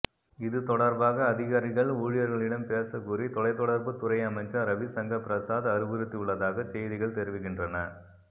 இதுதொடர்பாக அதிகாரிகள் ஊழியர்களிடம் பேசக்கூறி தொலைத்தொடர்பு துறை அமைச்சர் ரவிசங்கர் பிரசாத் அறிவுறுத்தியுள்ளதாகச் செய்திகள் தெரிவிக்கின்றன